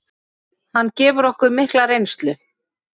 Hann gefur okkur mikla reynslu.